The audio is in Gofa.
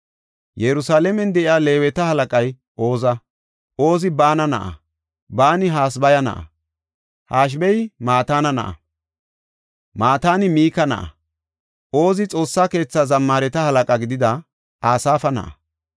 Yerusalaamen de7iya Leeweta halaqay Oza. Ozi Baana na7a; Baani Hasabaya na7a; Hashabey Mataana na7a; Mataani Mika na7a. Ozi Xoossa keetha zammaareta halaqa gidida Asaafa na7a.